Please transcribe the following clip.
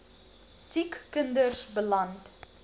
siek kinders beland